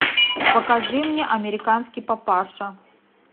покажи мне американский папаша